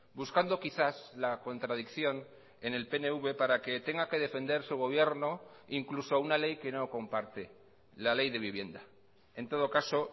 buscando quizás la contradicción en el pnv para que tenga que defender su gobierno incluso una ley que no comparte la ley de vivienda en todo caso